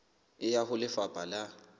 e ya ho lefapha la